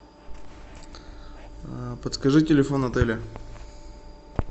подскажи телефон отеля